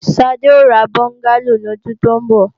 Sade ó ra bọ́ngálò ní ọdún tó ń bọ̀